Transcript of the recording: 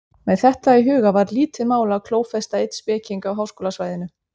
Með þetta í huga var lítið mál að klófesta einn speking á háskólasvæðinu.